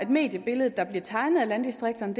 mediebillede der bliver tegnet af landdistrikterne